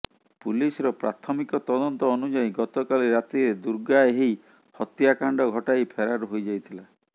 ପୁଲିସର ପ୍ରାଥମିକ ତଦନ୍ତ ଅନୁଯାୟୀ ଗତକାଲି ରାତିରେ ଦୁର୍ଗା ଏହି ହତ୍ୟାକାଣ୍ଡ ଘଟାଇ ଫେରାର ହୋଇଯାଇଥିଲା